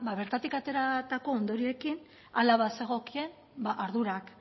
bertatik ateratako ondorioekin hala bazegokien ardurak